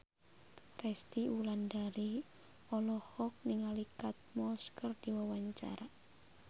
Resty Wulandari olohok ningali Kate Moss keur diwawancara